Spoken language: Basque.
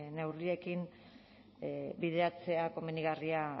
neurriekin bideratzea komenigarria